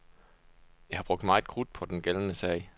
Jeg har brugt meget krudt på den gældende sag.